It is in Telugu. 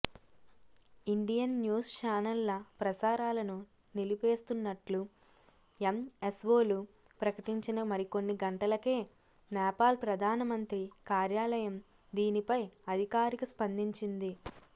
ఇండియన్ న్యూస్ చానెళ్ల ప్రసారాలను నిలిపేస్తున్నట్లు ఎంఎస్వోలు ప్రకటించిన మరికొన్ని గంటలకే నేపాల్ ప్రధానమంత్రి కార్యాలయం దీనిపై అధికారిక స్పందించింది